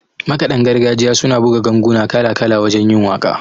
Makaɗan gargajiya suna buga ganguna kala-kala wajen yin waƙa